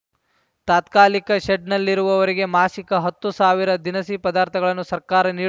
ತಾತ್ಕಾಲಿಕ ಶೆಡ್‌ನಲ್ಲಿರುವವರಿಗೆ ಮಾಸಿಕ ಹತ್ತು ಸಾವಿರ ದಿನಸಿ ಪದಾರ್ಥಗಳನ್ನು ಸರ್ಕಾರ ನೀಡು